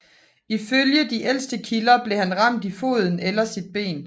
Ifølge de ældste kilder blev han ramt i en fod eller sit ben